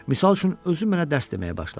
Misal üçün, özü mənə dərs deməyə başladı.